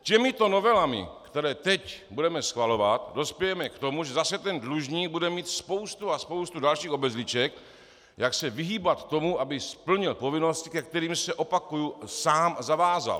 Těmito novelami, které teď budeme schvalovat, dospějeme k tomu, že zase ten dlužník bude mít spoustu a spoustu dalších obezliček, jak se vyhýbat tomu, aby splnil povinnosti, ke kterým se - opakuji - sám zavázal.